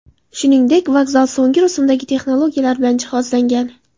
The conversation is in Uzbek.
Shuningdek, vokzal so‘nggi rusumdagi texnologiyalar bilan jihozlangan.